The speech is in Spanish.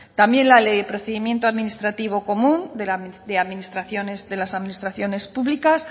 también la ley de procedimiento administrativo común de las administraciones públicas